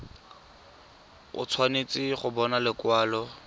o tshwanetse go bona lekwalo